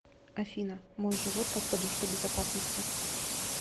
афина мой живот как подушка безопасности